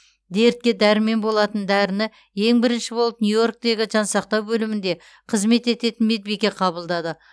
дертке дәрмен болатын дәріні ең бірінші болып нью йорктегі жансақтау бөлімінде қызмет ететін медбике қабылдады